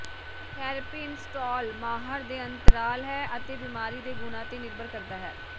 therapy install ਮਾਹਰ ਦੇ ਅੰਤਰਾਲ ਹੈ ਅਤੇ ਬਿਮਾਰੀ ਦੇ ਗੁਣਾ ਤੇ ਨਿਰਭਰ ਕਰਦਾ ਹੈ